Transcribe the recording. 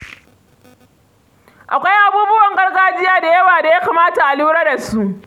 Akwai abubuwan gargajiya da yawa da ya kamata a lura da su.